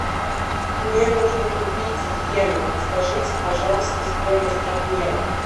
мне нужно купить йены подскажите пожалуйста стоимость обмена